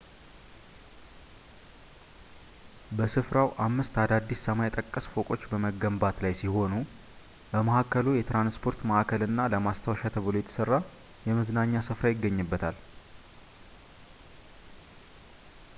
በስፍራው አምስት አዳዲስ ሰማይ ጠቀስ ፎቆች በመገንባት ላይ ሲሆኑ በመሀከሉ የትራንስፖርት ማዕከል እና ለማስታወሻ ተብሎ የተሰራ የመዝናኛ ስፍራ ይገኙበታል